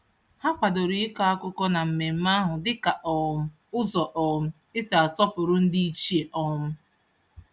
Ha kwadoro ịkọ akụkọ na mmemme ahụ dị ka um ụzọ um e si asọpụrụ ndịichie. um